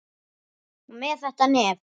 Og með þetta nef.